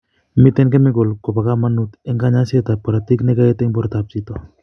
Miten kemikal ko bo kamanut en kanyoiset ab korotik ne kagoet en borto ab chito